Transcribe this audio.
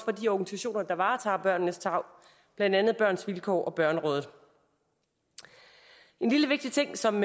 de organisationer der varetager børnenes tarv blandt andet børns vilkår og børnerådet en lille vigtig ting som